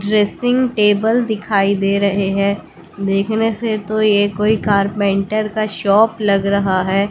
Dressing table दिखाई दे रहे हैं देखने से तो ये कोई कारपेंटर का शॉप लग रहा है।